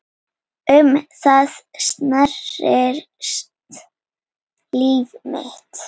Um það snerist líf mitt.